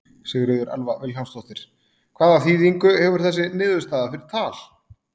Sigríður Elva Vilhjálmsdóttir: Hvaða þýðingu hefur þessi niðurstaða fyrir Tal?